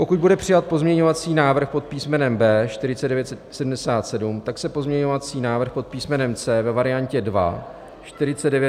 Pokud bude přijat pozměňovací návrh pod písmenem B 4977, tak se pozměňovací návrh pod písmenem C ve variantě 1 - 4995 již nebude hlasovat.